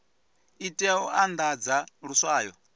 i tea u andadza luswayo